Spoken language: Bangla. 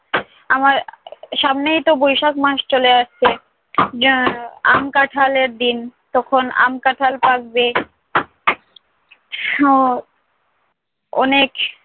আমার সামনেইতো বৈশাখ মাস চলে আসছে। যা আম কাঁঠালের দিন। তখন আম কাঁঠাল পাকবে। সব অনেক